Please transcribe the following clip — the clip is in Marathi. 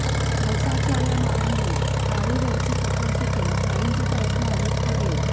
पावसाच्या माऱ्यामुळे थाळीवरची पकड सुटून काहींचे प्रयत्न अवैध ठरले